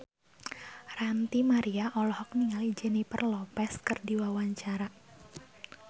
Ranty Maria olohok ningali Jennifer Lopez keur diwawancara